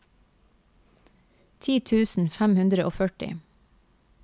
ti tusen fem hundre og førti